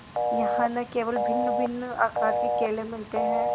यहाँ न केवल भिन्नभिन्न आकार के केले मिलते हैं